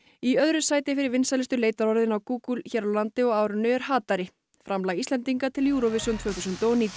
í öðru sæti fyrir vinsælustu leitarorðin á Google hér á landi á árinu er framlag Íslendinga til Eurovision tvö þúsund og nítján